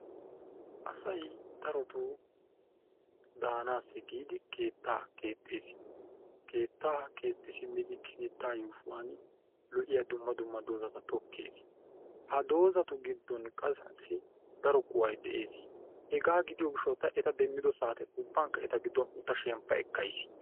aasay darotoo daanasi giidi keettaa keexees. keettaa keexxi siimmidi keettaa yuushshuwan loo'iyaa dumma dumma dozzata tokkees. ha dozzatu gidonkka qaasi daro kuway de'ees. hegaa gidiyoo giishaw ta eeta demiddo saate uuban eeta giidon uutadda shemppa ekkayis.